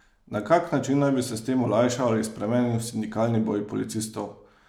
Na kak način naj bi se s tem olajšal ali spremenil sindikalni boj policistov?